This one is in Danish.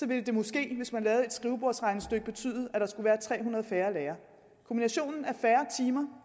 ville det måske hvis man lavede et skrivebordsregnestykke betyde at der skulle være tre hundrede færre lærere kombinationen af færre timer